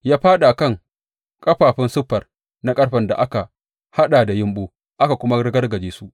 Ya fāɗa a kan ƙafafun siffar na ƙarfen da aka haɗa da yumɓu aka kuma ragargaje su.